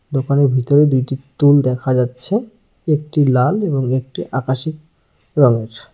দোকানের ভিতরে দুইটি তুল দেখা যাচ্ছে একটি লাল এবং একটি আকাশী রংয়ের।